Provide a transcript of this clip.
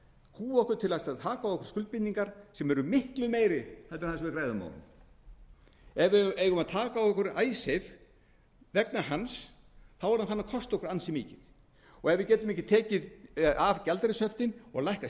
kúga okkur til að taka á okkur skuldbindingar sem eru miklu meiri heldur en það sem við græðum á honum ef við eigum að taka á okkur icesave vegna hans þá er hann farinn að kosta okkur ansi mikið og ef við getum ekki tekið af gjaldeyrishöftin og lækkað